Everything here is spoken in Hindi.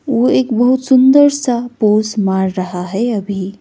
वो एक बहुत सुंदर सा पोज मार रहा है अभी।